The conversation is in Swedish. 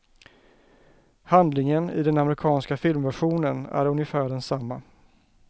Handlingen i den amerikanska filmversionen är ungefär densamma.